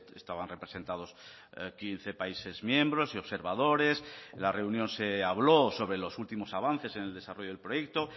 estaban representados quince países miembros y observadores en la reunión se habló sobre los últimos avances en el desarrollo del proyecto